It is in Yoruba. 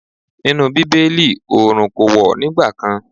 Nínú Bíbélì oòrùn kò wọ̀ nígbà kan.